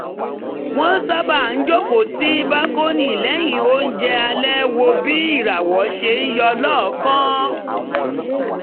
wọ́n sábà ń jókòó sí bákónì lẹ́yìn oúnjẹ alẹ́ wo bí ìràwọ̀ ṣe ń yọ lọ́ọ̀ọ̀kan